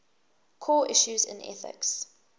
core issues in ethics